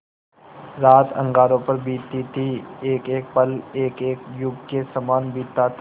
रात अंगारों पर बीतती थी एकएक पल एकएक युग के सामान बीतता था